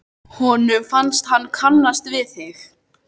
Honum fannst hann kannast við þig.